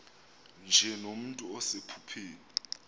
nje nomntu osephupheni